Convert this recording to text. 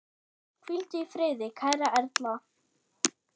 Hvíldu í friði kæra Erla.